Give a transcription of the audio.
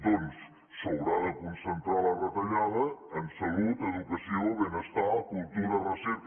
doncs s’haurà de concentrar la retallada en salut educació benestar cultura recerca